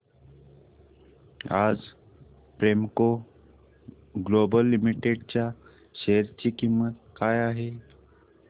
आज Premco global limited च्या share ची किंमत काय आहे